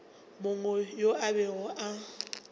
mongwe yo a bego a